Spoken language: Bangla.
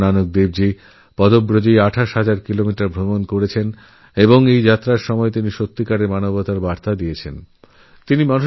গুরু নানক দেব২৮ হাজার কিলোমিটার পদযাত্রা করেছেন এবং এই পদযাত্রায় তিনি মানবতার বার্তা ছড়িয়েদিয়েছেন